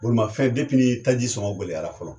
Bolimafɛn depi ni taji sɔngɔ gɛlɛyara fɔlɔ